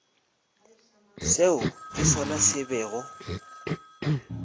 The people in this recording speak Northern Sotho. seo ke sona se bego